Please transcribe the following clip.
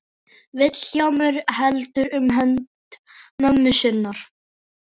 Vilhjálmur heldur um hönd mömmu sinnar.